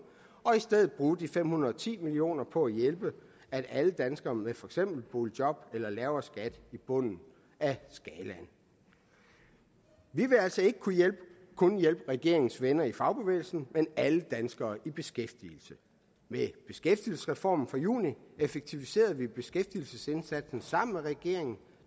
og i stedet bruge de fem hundrede og ti million kroner på at hjælpe alle danskere med for eksempel boligjob eller lavere skat i bunden af skalaen vi vil altså ikke kun hjælpe regeringens venner i fagbevægelsen men alle danskere i beskæftigelse med beskæftigelsesreformen fra juni effektiviserede vi beskæftigelsesindsatsen sammen med regeringen